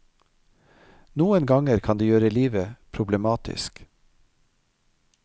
Noen ganger kan det gjøre livet problematisk.